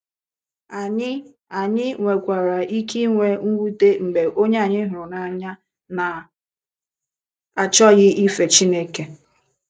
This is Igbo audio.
Anyị Anyị nwekwara ike inwe mwute mgbe onye anyị hụrụ n’anya na - achọkwaghị ife Chineke.